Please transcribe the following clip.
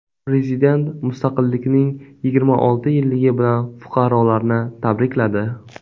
Prezident mustaqillikning yigirma olti yilligi bilan fuqarolarni tabrikladi .